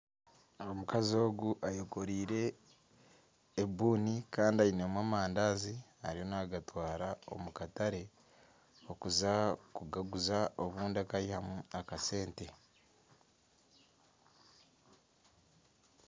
Omukazi ogu ayekoreire ebuuni Kandi ainemu amandazi ariyo nagatwara omukatare kuza kugaguza obundi akayihamu akasente.